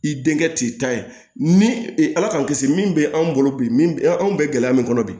I denkɛ t'i ta ye ni ala k'an kisi min bɛ an bolo bi min anw bɛ gɛlɛya min kɔnɔ bi